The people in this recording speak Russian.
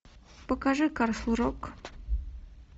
покажи касл рок